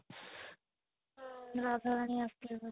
ହୁଁ ରାଧା ରାଣୀ ଆସିଥିବେ ବୋଧେ